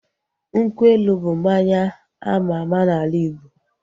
Nkwụ elu bụ mmanya ama ama n'ala Igbo